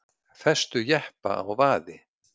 Festu jeppa á vaði